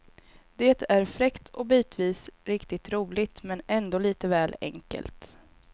Det är fräckt och bitvis riktigt roligt, men ändå lite väl enkelt.